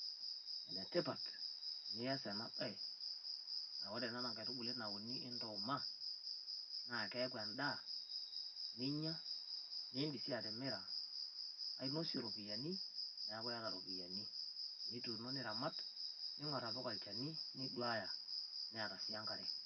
Enetipat niyaas ena baye a ore ena naa nkatubulii nauuni endumaa, naa keaku endaa ninyaa niidim si atomiraa ainosee ropiani neaku iataa ropiani. Netuuno niramaat ning'orr apiik ilchani niduaya netaa si enkaree.